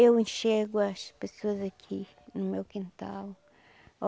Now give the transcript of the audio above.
Eu enxergo as pessoas aqui, no meu quintal.